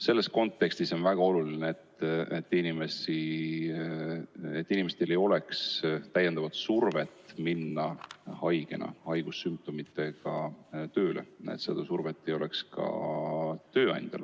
Selles kontekstis on väga oluline, et inimestel ei oleks survet minna haigena, haigussümptomitega tööle ja et seda survet ei oleks ka tööandjal.